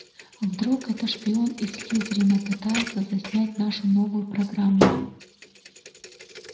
а вдруг это шпион из слизерина пытается заснять нашу новую программу